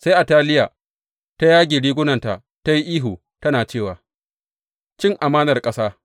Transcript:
Sai Ataliya ta yage rigunanta ta yi ihu tana cewa, Cin amanar ƙasa!